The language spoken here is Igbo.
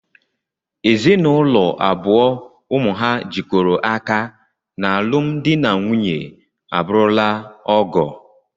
Ezinụlọ abụọ ụmụ ha jikọrọ aka n'alụm dị na nwunye abụrụla ọgọ